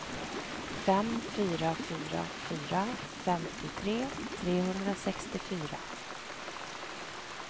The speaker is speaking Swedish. fem fyra fyra fyra femtiotre trehundrasextiofyra